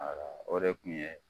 Wala o de tun ye